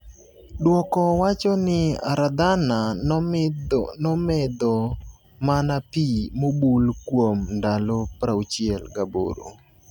duoko wacho ni Aradhana nomedho mana pi mobul kuom ndalo 68.